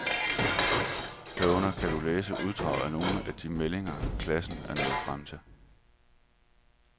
Herunder kan du læse uddrag af nogle af de meldinger, klasserne er nået frem til.